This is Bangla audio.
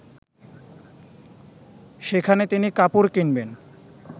সেখানে তিনি কাপড় কিনবেন